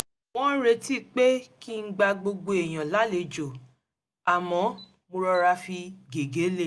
wọ́n ń retí pé kí n gba gbogbo èèyàn lálejò àmọ́ mo rọra fi gègé lée